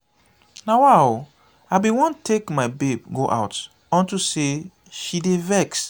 nawa oooo i bin wan take my babe go out unto say she dey vex.